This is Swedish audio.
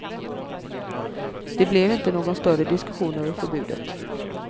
Det blev inte någon större diskussion över förbudet.